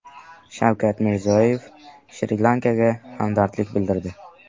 Shavkat Mirziyoyev Shri-Lankaga hamdardlik bildirdi.